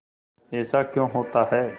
ऐसा क्यों होता है